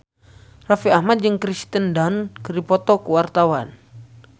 Raffi Ahmad jeung Kirsten Dunst keur dipoto ku wartawan